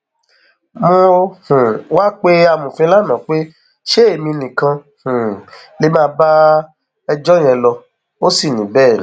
mo um wáá pe amọfin lànà pé ṣé èmi nìkan um lè má bá ẹjọ yẹn lọ ó sì ní bẹẹ ni